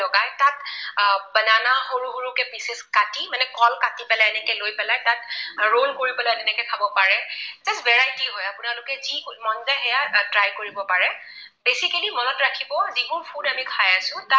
সৰু সৰু কৈ pieces কাটি মানে কল কাটি পেলাই এনেকৈ লৈ পেলাই তাত roll কৰি পেলাই এনেকৈ খাব পাৰে। variety হয়, আপোনালোকে যি মন যায় সেইয়াই try কৰিব পাৰে। basically মনত ৰাখিব যিবোৰ food আমি খাই আছো।